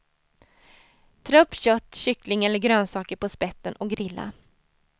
Trä upp kött, kyckling eller grönsaker på spetten och grilla.